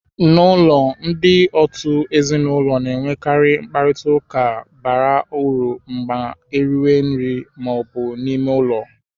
N'ụlọ, ndị òtù ezinụlọ na-enwekarị mkparịta ụka bara uru ma eriwe nri ma ọ bụ n'ime ụlọ.